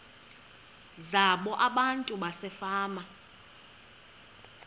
zabo abantu basefama